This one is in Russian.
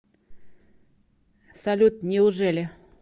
салют неужели